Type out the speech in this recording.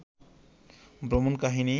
ভ্রমণ কাহিনী